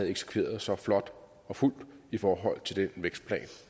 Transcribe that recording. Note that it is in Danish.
eksekveret så flot og fuldt i forhold til den vækstplan